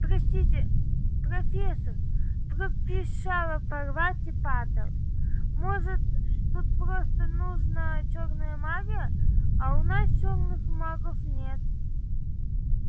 простите профессор пропищала парвати патэл может тут просто нужна чёрная магия а у нас черных магов нет